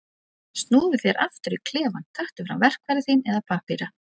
Snúðu þá aftur í klefann, taktu fram verkfæri þín eða pappíra.